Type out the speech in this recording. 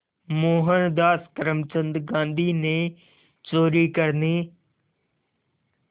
मोहनदास करमचंद गांधी ने चोरी करने